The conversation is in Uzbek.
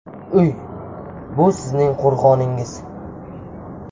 Uy – bu sizning qo‘rg‘oningiz.